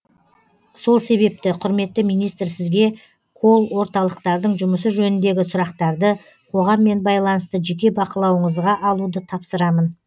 сол себепті құрметті министр сізге колл орталықтардың жұмысы жөніндегі сұрақтарды қоғаммен байланысты жеке бақылауыңызға алуды тапсырамын